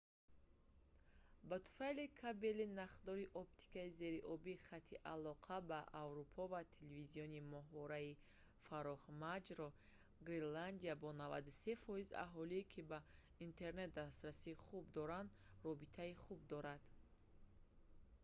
ба туфайли кабелии нахдори оптикии зериобии хати алоқа ба аврупо ва телевизиони моҳвораии фарохмаҷро гренландия бо 93% аҳолӣ ки ба интернет дастрасии хуб доранд робитаи хуб дорад